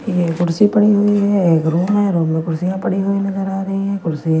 ये कुर्सी पड़ी हुई है एक रूम है रूम में कुर्सियां पड़ी हुई नजर आ रही है कुर्सियां--